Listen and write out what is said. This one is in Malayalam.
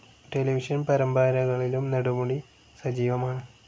ടെലിവിഷൻ പരമ്പരകളിലും നെടുമുടി സജീവമാണ്.